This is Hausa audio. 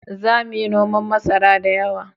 Za mu yi noman masara da yawa